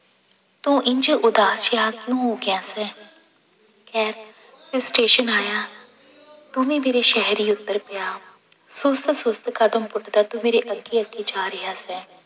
ਤੂੰ ਇੰਞ ਉਦਾਸ ਜਿਹਾ ਕਿਉਂ ਹੋ ਗਿਆ ਸੈਂ ਖੈਰ ਫਿਰ ਸਟੇਸ਼ਨ ਆਇਆ ਤੂੰ ਵੀ ਮੇਰੇ ਸ਼ਹਿਰ ਹੀ ਉੱਤਰ ਗਿਆ, ਸੁਸਤ ਸੁਸਤ ਕਦਮ ਪੁੱਟਦਾ ਤੂੰ ਮੇਰੇ ਅੱਗੇ ਅੱਗੇ ਜਾ ਰਿਹਾ ਸੈਂ।